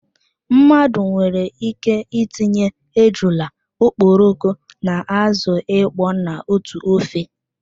Mmadụ nwere ike itinye ejula, okporoko na azụ ịkpọ na otú ofe